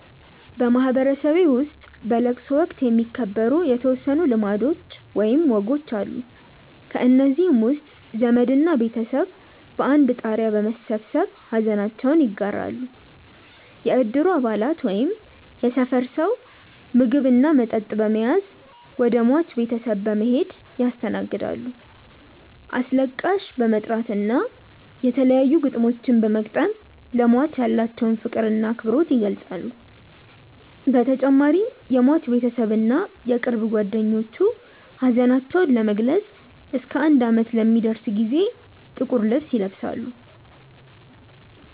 በማህበረሰቤ ውስጥ በለቅሶ ወቅት የሚከበሩ የተወሰኑ ልማዶች ወይም ወጎች አሉ። ከእነዚህም ውስጥ ዘመድ እና ቤተሰብ በአንድ ጣሪያ በመሰብሰብ ሐዘናቸውን ይጋራሉ፣ የእድሩ አባላት ወይም የሰፈር ሰው ምግብ እና መጠጥ በመያዝ ወደ ሟች ቤተሰብ በመሔድ ያስተናግዳሉ፣ አስለቃሽ በመጥራት እና የተለያዩ ግጥሞችን በመግጠም ለሟች ያላቸውን ፍቅር እና አክብሮት ይገልፃሉ በተጨማሪም የሟች ቤተሰብ እና የቅርብ ጓደኞቹ ሀዘናቸውን ለመግለፅ እስከ አንድ አመት ለሚደርስ ጊዜ ጥቁር ልብስ ይለብሳሉ።